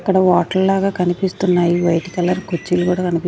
అక్కడ వాటర్ లాగా కనిపిస్తున్నాయి వైట్ కలర్ కుర్చీలు కూడా కన్--